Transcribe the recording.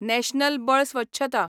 national बळ स्वच्छता